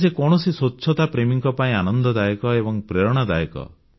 ଏହା ଯେକୌଣସି ସ୍ୱଚ୍ଛତାପ୍ରେମୀଙ୍କ ପାଇଁ ଆନନ୍ଦଦାୟକ ଏବଂ ପ୍ରେରଣାଦାୟକ